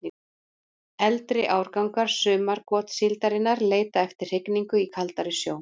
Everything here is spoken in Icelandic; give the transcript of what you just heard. Eldri árgangar sumargotssíldarinnar leita eftir hrygningu í kaldari sjó.